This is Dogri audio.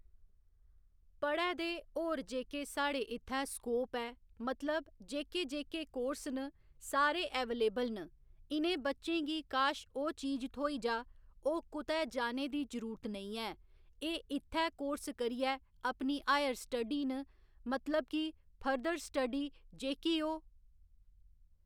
पढ़ै दे होर जेह्‌के साढ़े इत्थै स्कोप ऐ मतलब जेह्‌के जेह्‌के कोर्स न सारे ऐवेलेबल न इ'नें बच्चें गी काश ओह् चीज थ्होई जा ओह् कुतै जाने दी जरूरत नेईं ऐ एह् इत्थै कोर्स करियै अपनी हायर स्टडी न मतलब कि फर्दर स्टडी जेह्‌की ओह्